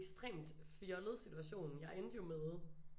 Ekstremt fjollet situation jeg endte jo med